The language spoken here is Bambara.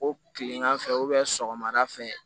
O kilegan fɛ sɔgɔmada fɛ